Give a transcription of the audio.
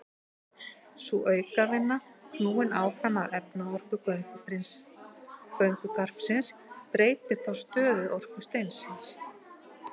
Sú aukavinna, knúin áfram af efnaorku göngugarpsins, breytir þá stöðuorku steinsins.